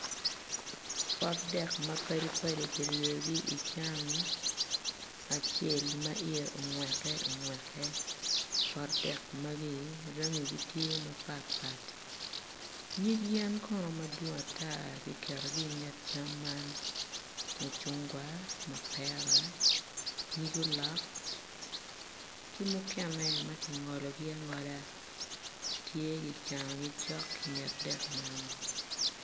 Potdek mapadi padi ki ryeyogi ican acel ma iye ongweke ongweke potdek magi rangi tye mapatpat nyig yen kono madwong ata giketogi inget cam man mucungwa mapera nyig ulok ki mukene m ki ngologi angolo tye gicanogi cok inget dek man